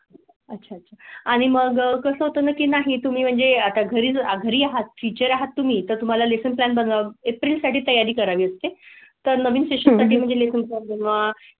अच्छा अच्छा आणि मग कसं होतं की नाही तुम्ही म्हणजे आता घरी जा गृहात फीचर आहात तुम्ही तर तुम्हाला लेशन प्लॅन बनवा एप्रिल साठी तयारी करावी असते तर नवीन सेशन सेशन म्हणून वा.